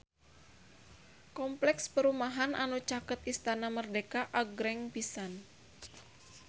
Kompleks perumahan anu caket Istana Merdeka agreng pisan